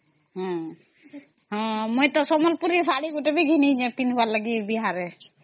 ହଁ ମୁଇଁ ତା ସମ୍ବଲପୁରୀ ଶାଢ଼ୀ ଗୋଟେ ବି ଘିନିବାର ଅଛି